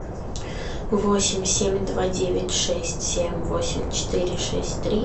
восемь семь два девять шесть семь восемь четыре шесть три